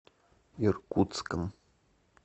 иркутском